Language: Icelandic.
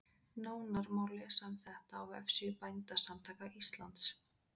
Nánar má lesa um þetta á vefsíðu Bændasamtaka Íslands.